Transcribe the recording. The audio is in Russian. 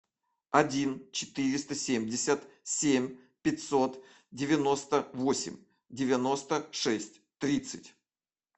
один четыреста семьдесят семь пятьсот девяносто восемь девяносто шесть тридцать